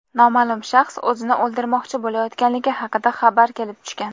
noma’lum shaxs o‘zini o‘ldirmoqchi bo‘layotganligi haqida xabar kelib tushgan.